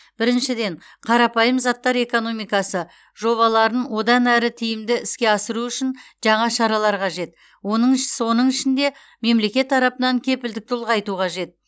біріншіден қарапайым заттар экономикасы жобаларын одан әрі тиімді іске асыру үшін жаңа шаралар қажет онын соның ішінде мемлекет тарапынан кепілдікті ұлғайту қажет